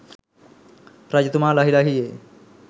රජතුමා ලහි ලහියේ